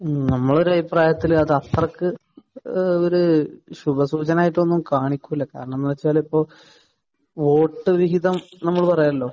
മ്മ്. നമ്മുടെ ഒരു അഭിപ്രായത്തിൽ അത് അത്രക്ക് ഏഹ് ഒരു ശുഭ സൂചനയായിട്ട് ഒന്നും കാണിക്കുകയില്ല. കാരണം എന്ന് വെച്ചാൽ ഇപ്പോൾ വോട്ട് വിഹിതം നമ്മൾ പറയുമല്ലോ.